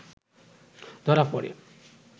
ধরা প’ড়ে